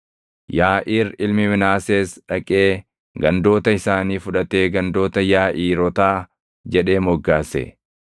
Yaaʼiir ilmi Minaasees dhaqee gandoota isaanii fudhatee gandoota Yaaʼiirootaa jedhee moggaase.